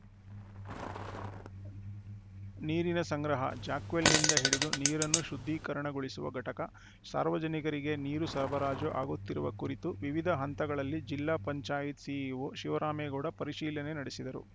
ನೀರಿನ ಸಂಗ್ರಹ ಜಾಕ್‌ವೆಲ್‌ನಿಂದ ಹಿಡಿದು ನೀರನ್ನು ಶುದ್ಧೀಕರಣಗೊಳಿಸುವ ಘಟಕ ಸಾರ್ವಜನಿಕರಿಗೆ ನೀರು ಸರಬರಾಜು ಆಗುತ್ತಿರುವ ಕುರಿತು ವಿವಿಧ ಹಂತಗಳಲ್ಲಿ ಜಿಲ್ಲಾ ಪಂಚಾಯತ್‌ ಸಿಇಓ ಶಿವರಾಮೇಗೌಡ ಪರಿಶೀಲನೆ ನಡೆಸಿದರು